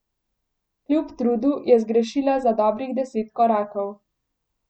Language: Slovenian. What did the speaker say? Kljub trudu je zgrešila za dobrih deset korakov.